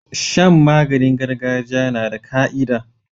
Shan maganin gargajiya nada ka'ida